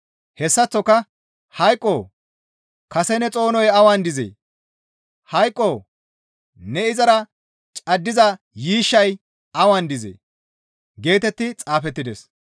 Hessaththoka, «Hayqoo! Kase ne xoonoy awan dizee? Hayqoo! Ne izara caddiza yiishshay awan dizee?» geetetti xaafettides.